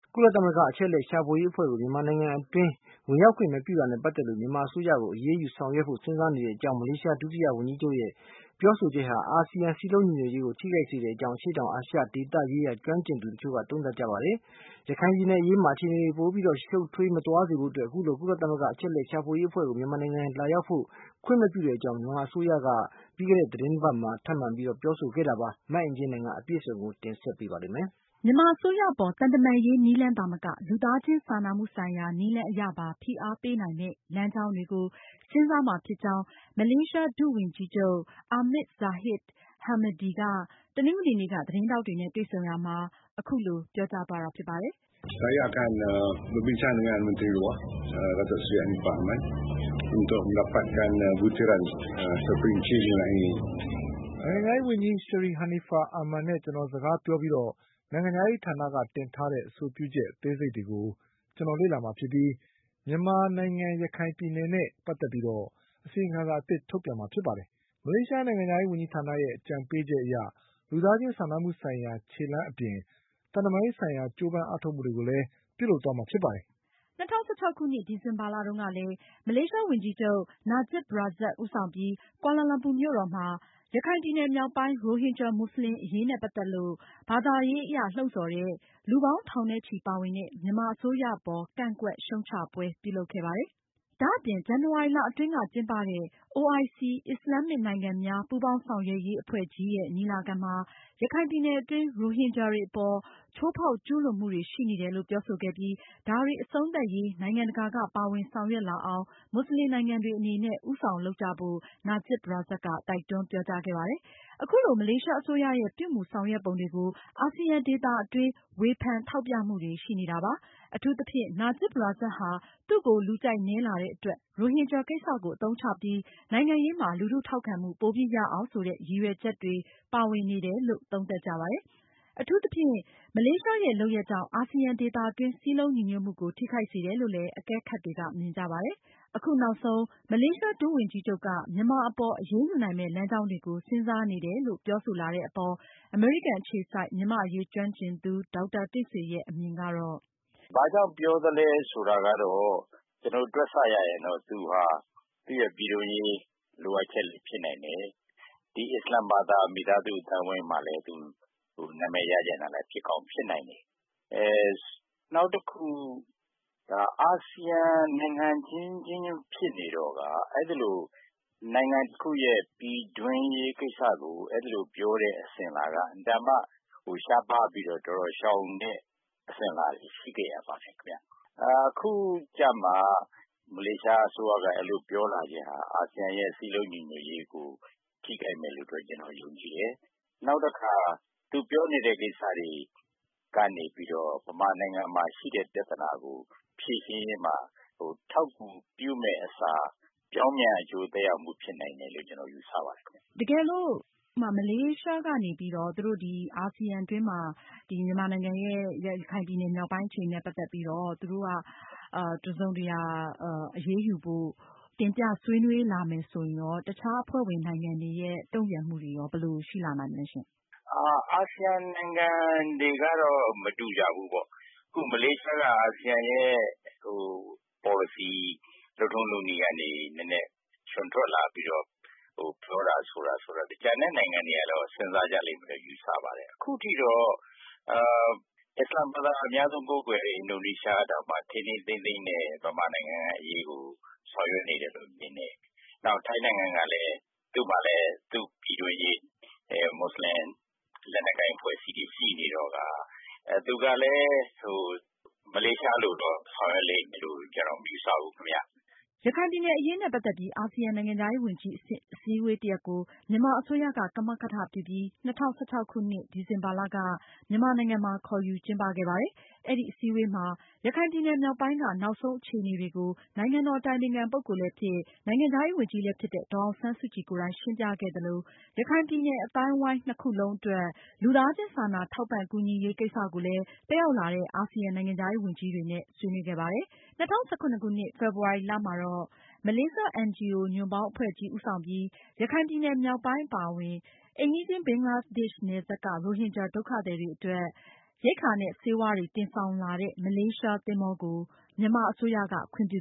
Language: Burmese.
ကုလသမဂ္ဂ အချက်အလက်ရှာဖွေရေးအဖွဲ့ကို မြန်မာနိုင်ငံတွင်း ဝင်ရောက်ခွင့်မပြုတာနဲ့ ပတ်သက်လို့ မြန်မာအစိုးရကို အရေးယူဆောင်ရွက်ဖို့ စဉ်းစားနေကြောင်း မလေးရှားဒုဝန်ကြီးချုပ်ရဲ့ ပြောဆိုချက်ဟာ အာဆီယံရဲ့ စည်းလုံညီညွတ်ရေးကို ထိခိုက်စေကြောင်း အရှေ့တောင်အာရှဒေသရေးရာ ကျွမ်းကျင်သူတချို့က သုံးသပ်ကြပါတယ်။ ရခိုင်ပြည်နယ်အရေးမှာ အခြေအနေတွေပိုပြီးရှုပ်ထွေးမသွားစေဖို့ အခုလို ကုလသမဂ္ဂအချက်အလက်ရှာဖွေရေးအဖွဲ့ကို မြန်မာနိုင်ငံကိုလာရောက်ဖို့ ခွင့်မပြုကြောင်း မြန်မာအစိုးရက ပြီးခဲ့သတင်းအပတ်အတွင်း ထပ်မံပြောဆိုခဲ့တာပါ။ မအင်ကြင်းနိုင်က အပြည့်အစုံကို ဆက်ပြီးတင်ပြမှာပါ။ မြန်မာအစိုးရအပေါ် သံတမန်ရေးနည်းလမ်းသာမက လူသားချင်းစာနာမှုဆိုင်ရာနည်းလမ်းအရပါ ဖိအားပေးနိုင်မယ့် လမ်းကြောင်းတွေကို စဉ်းစားမှာဖြစ်ကြောင်း မလေးရှား ဒုဝန်ကြီးချုပ် Ahmad Zahid Hamidi က တနင်္ဂနွေနေ့က သတင်းထောက်တွေနဲ့တွေ့ဆုံရာမှာ ပြောကြားခဲ့တာဖြစ်ပါတယ်။ “ နိုင်ငံခြားရေးဝန်ကြီး Seri Anifah Aman နဲ့ ကျနော်စကားပြောပြီးတော့ နိုင်ငံခြားရေးဌာနက တင်ထားတဲ့ အဆိုပြုချက်အသေးစိတ်တွေကို ကျနော်လေ့လာမှာဖြစ်ပြီး မြန်မာနိုင်ငံ ရခိုင်ပြည်နယ်နဲ့ ပတ်သက်ပြီးတော့ အစီရင်ခံစာထုတ်ပြန်မှာဖြစ်ပါတယ်။ မလေးရှားနိုင်ငံခြားရေးဝန်ကြီးဌာနရဲ့ အကြံပေးချက်အရ လူသားချင်းစာနာမှုဆိုင်ရာ ခြေလှမ်းအပြင် သံတမန်ရေးဆိုင်ရာ ကြိုးပမ်းအားထုတ်မှုတွေကိုလည်း ပြုလုပ်သွားမှာဖြစ်ပါတယ်။” ၂၀၁၆ခုနှစ် ဒီဇင်ဘာလတုန်းကလဲ မလေးရှားဝန်ကြီးချုပ် Najib Razak ဦးဆောင်ပြီး ကွာလာလမ်ပူမြို့တော်မှာကျင်းပတဲ့ ရခိုင်ပြည်နယ်မြောက်ပိုင်း ရိုဟင်ဂျာ မွတ်စလင်တွေအရေးနဲ့ ပတ်သက်ပြီး ဘာသာရေးအရ လှုံဆော်တဲ့ လူပေါင်းထောင်နဲ့ချီပါဝင်တဲ့ မြန်မာအစိုးရအပေါ် ကန့်ကွက် ရှုတ်ချပွဲ ပြုလုပ်ခဲ့ပါတယ်။ ဒါအပြင် ဇန်နဝါရီလအတွင်းက ကျင်းပတဲ့ OIC အစ္စလာမ်မစ်နိုင်ငံများ ပူးပေါင်းဆောင်ရွက်ရေးအဖွဲ့ ညီလာခံမှာ ရခိုင်ပြည်နယ်အတွင်း ရိုဟင်ဂျာတွေအပေါ် ချိုးဖောက် ကျူးလွန်မှု ရှိနေတယ်လို့ ပြောဆိုခဲ့ပြီး ဒါတွေ အဆုံးသတ်ရေး နိုင်ငံတကာက ပါဝင်ဆောင်ရွက်လာအောင် မွတ်ဆလင်နိုင်ငံတွေအနေနဲ့ ဦးဆောင် လုပ်ကိုင်ကြဖို့ Najib Razak တိုက်တွန်း ပြောကြားခဲ့ပါတယ်။ အခုလို မလေးရှားအစိုးရရဲ့ ပြုမူဆောင်ရွက်ပုံတွေကို အာဆီယံဒေသတွင်း ဝေဖန်ထောက်ပြမှုတွေ ရှိခဲ့ပါတယ်။ Najib Razak ဟာ သူ့ကို လူကြိုက်နည်းလာတဲ့အတွက် ရိုဟင်ဂျာ ကိစ္စကိုအသုံးချပြီး နိုင်ငံရေးမှာ လူထုထောက်ခံမှု ပိုပြီးရအောင်ဆိုတဲ့ ရည်ရွယ် ချက်တွေပါဝင်နေတယ်လို့ သုံးသပ်ကြပါတယ်။ အထူးသဖြင့် မလေးရှားရဲ့ လုပ်ရပ်ကြောင့် အာဆီယံဒေသတွင်း စည်းလုံးညီညွတ်မှုကို ထိခိုက်စေတယ်လို့ လည်း အကဲခပ်တွေက မြင်ကြပါတယ်။ အခုနောက်ဆုံး မလေးရှား ဒုဝန်ကြီးချုပ်က မြန်မာအပေါ် အရေးယူနိုင်မယ့် လမ်းကြောင်းတွေကို စဉ်းစားနေကြောင်း ပြောဆိုလာတဲ့အပေါ် အမေရိကန်အခြေစိုက် မြန်မာ့အရေးကျွမ်းကျင်သူ ဒေါက်တာတင့်ဆွေရဲ့ အမြင်ကတော့- “ဘာကြောင့်ပြောသလဲဆိုတာကတော့ တွက်ဆရရင် သူဟာ သူ့ရဲ့ပြည်တွင်းရေး လိုအပ်ချက်လဲဖြစ်နိုင်တယ်။ နောက်ဒီအစ္စလာမ်ဘာသာ မိသားစုအသိုင်းအဝိုင်းမှာလည်း သူနာမည်ရချင်တာလဲ ဖြစ်ကောင်းဖြစ်နိုင်တယ်။ နောက်တခုက အာဆီယံနိုင်ငံအချင်းချင်းဖြစ်နေတော့ အဲသလို နိုင်ငံတခုရဲ့ ပြည်တွင်းရေးကိစ္စကို အဲဒီလိုပြောတဲ့ အစဉ်အလာ အင်မတန်မှ ရှားပါးပြီးတော့ ရှောင်တဲ့ အစဉ်အလာတွေ ရှိခဲ့ကြပါတယ်ခင်ဗျ။ အခုကြမှ မလေးရှားအစိုးရက အဲဒီလိုပြောလာခြင်းဟာ အာဆီယံရဲ့ စည်းလုံးညီညွတ်ရေးကို ထိခိုက်မယ်လို့တော့ ကျနော်ယုံကြည်တယ်။ နောက်တခါ သူပြောနေတဲ့ ကိစ္စတွေကနေပြီးတော့ မြန်မာနိုင်ငံမှာဖြစ်တဲ့ ပြဿနာကို ဖြေရှင်းရေးမှာ အထောက်အကူပြုမယ့်အစား ပြောင်းပြန်အကျိူးသက် ရောက်မှုဖြစ်နိုင်တယ်လို့ ကျနော်ယူဆပါတယ်ခင်ဗျ။” မေး။ ။ တကယ်လို့ မလေးရှားကနေပြီး အာဆီယံအတွင်းမှာ မြန်မာနိုင်ငံရဲ့ ရခိုင်ပြည်နယ်မြောက်ပိုင်းအခြေအနေနဲ့ ပတ်သက်ပြီးတော့ အရေးယူဖို့ သူတို့က တင်ပြဆွေးနွေးလာမယ်ဆိုရင် အခြားအဖွဲ့ဝင်နိုင်ငံတွေရဲ့ တုန့်ပြန်မှုတွေ ဘယ်လိုရှိလာနိုင်မလဲရှင့်။ ဖြေ။ ။ အာဆီယံနိုင်ငံတွေကတော့ မတူကြဘူးပေါ့။ အခု မလေးရှားက အာဆီယံရဲ့ ပေါ်လစီ လုပ်ထုံးလုပ်နည်းကနေ နဲနဲ ချွန်ထွက်လာပြီးတော့ ပြောတာဆိုတာ ဆိုတော့ ကျန်တဲ့နိုင်ငံတွေကတော့ စဉ်းစားကြလိမ့်မယ်လို့ ယူဆပါတယ်။ အခုထိတော့ အစ္စလာမ်ဘာသာ အများဆုံးကိုးကွယ်တဲ့ အင်ဒိုနီးရှားတောင်မှ ထိန်းထိန်းသိမ်းသိမ်းနဲ့ မြန်မာနိုင်ငံရဲ့ အရေးကိုဆောင်ရွက်နေတယ်လို့ မြင်တယ်။ နောက် ထိုင်းနိုင်ငံကလည်း သူ့မှာလည်း သူ့ပြည်တွင်းရေးနဲ့ မွတ်စလင် လက်နက်ကိုင်အဖွဲ့တွေရှိနေတော့ကာ သူကလည်း မလေးရှားလိုတော့ ဆောင်ရွက်လိမ့်မယ်လို့ မယူဆဘူးခင်ဗျ။ ရခိုင်ပြည်နယ်အရေးနဲ့ ပတ်သက်ပြီး အာဆီယံနိုင်ငံခြားရေးဝန်ကြီးအဆင့် အစည်းအဝေးတရပ် ကိုမြန်မာအစိုးရက ကမကထပြုပြီး ၂၀၁၆ခုနှစ် ဒီဇင်ဘာလက မြန်မာနိုင်ငံမှာ ခေါ်ယူကျင်းပခဲ့ပါတယ်။ အဲဒီအစည်းအဝေးမှာ ရခိုင်ပြည်နယ်မြောက်ပိုင်းက နောက်ဆုံး အခြေအနေတွေကို နိုင်ငံတော်အတိုင်ပင်ခံပုဂ္ဂိုလ်လည်းဖြစ် နိုင်ငံခြားရေးဝန်ကြီးလည်းဖြစ်တဲ့ ဒေါ်အောင်ဆန်းစုကြည်ကိုယ်တိုင် ရှင်းပြခဲ့သလို ရခိုင်ပြည်နယ် အသိုင်းအဝိုင်း ၂ ခုလုံးအတွက် လူသားချင်းစာနာထောက်ပံ့ကူညီရေး ကိစ္စကိုလည်း တက်ရောက်လာတဲ့ အာဆီယံနိုင်ငံခြားရေးဝန်ကြီးတွေနဲ့ ဆွေးနွေးခဲ့ပါတယ်။ ၂၀၁၇ခုနှစ် ဖေဖေါ်ဝါရီလမှာတော့ ရခိုင်ပြည်နယ်မြောက်ပိုင်း အပါအဝင် အိမ်နီးချင်း ဘင်္ဂလားဒေ့ရှ်နယ်စပ်က ရိုဟင်ဂျာ ဒုက္ခသည်တွေအတွက် မလေးရှား NGO ညွန့်ပေါင်းအဖွဲ့ကြီးဦးဆောင်ပြီး ရိက္ခာနဲ့ ဆေးဝါး တန်ချိန်ပေါင်း ၂၃၀၀ကို တင်ဆောင်လာတဲ့ မလေးရှားသင်္ဘောကို မြန်မာအစိုးရက ခွင့်ပြု